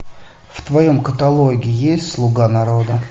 в твоем каталоге есть слуга народа